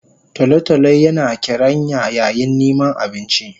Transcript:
Tolo tolo yina karanya yayin niman abinci